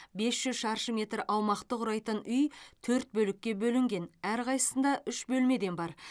бес жүз шаршы метр аумақты құрайтын үй төрт бөлікке бөлінген әрқайсысында үш бөлмеден бар